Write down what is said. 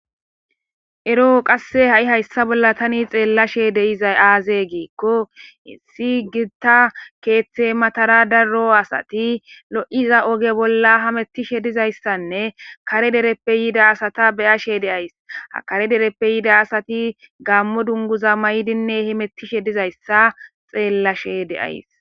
Ero qase tani hayssa bolla xellishe dizayssa azee gikko issi gita keththe matara daro asati lo'ishe diiza ooge bollara hamettishe dizayssanne kare dereppe yoda asata bayashe dayssi ha kare dereppe yida asatti gaammo dunguza mayidinne hemettishe dizayssa xellashe de'ayssii